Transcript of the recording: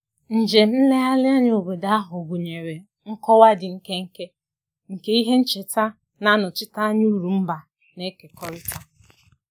Njem nlegharị n'obodo ahụ gụnyere nkọwa dị nkenke banyere ihe ncheta na-egosi ụkpụrụ mba nabatara